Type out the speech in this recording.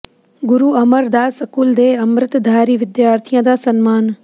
ਗੁਰੂ Amar Das school ਦੇ ਅੰਮ੍ਰਿਤਧਾਰੀ ਵਿਦਿਆਰਥੀਆਂ ਦਾ ਸਨਮਾਨ